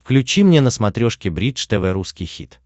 включи мне на смотрешке бридж тв русский хит